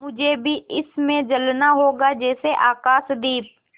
मुझे भी इसी में जलना होगा जैसे आकाशदीप